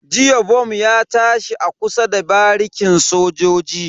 Jiya bom ya tashi a kusa da barikin sojoji.